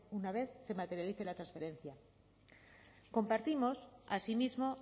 una vez se materialice la transferencia compartimos asimismo